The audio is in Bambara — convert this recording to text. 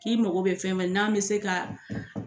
K'i mago bɛ fɛn fɛn n'an bɛ se ka